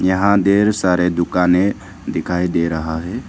यहां ढेर सारे दुकानें दिखाई दे रहा है।